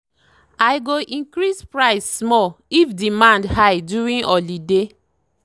i go increase price small if demand high during holiday.